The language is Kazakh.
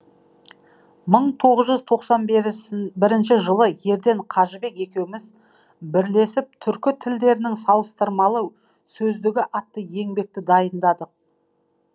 мың тоғыз жүз тоқсан бірінші жылы ерден қажыбек екеуміз бірлесіп түркі тілдерінің салыстырмалы сөздігі атты еңбекті дайындадық